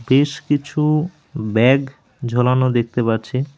বেশ কিছু ব্যাগ ঝোলানো দেখতে পাচ্ছি।